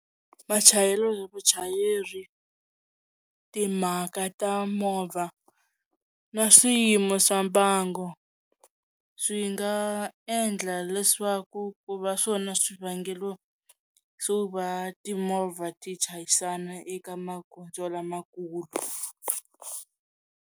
Machayelo ya vuchayeri timhaka ta movha na swiyimo swa mbangu swi nga endla leswaku ku va swona swivangelo swo va timovha ti chayisana eka magondzo lamakulu.